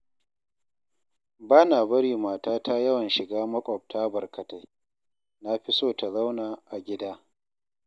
Ba na bari matata yawan shiga makwabta barkatai, na fi so ta zauna a gida.